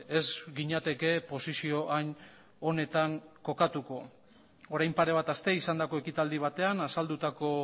ez ginateke posizio hain onetan kokatuko orain pare bat aste izandako ekitaldi batean azaldutako